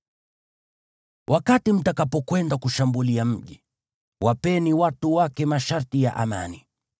Wakati mtakapokwenda kushambulia mji, wapeni watu wake masharti ya amani.